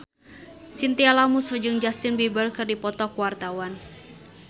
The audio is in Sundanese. Chintya Lamusu jeung Justin Beiber keur dipoto ku wartawan